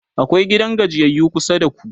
akwai gidan gajiyayyu kusa da ku?